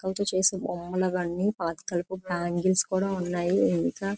చెక్కతో చేసిన బొమ్మలు మరియు పాతకాల పాతకాలపు బ్యాంగిల్స్ కూడా ఉన్నాయి.